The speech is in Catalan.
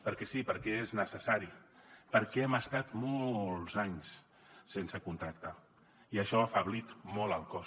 perquè sí perquè és necessari perquè hem estat molts anys sense contracte i això ha afeblit molt el cos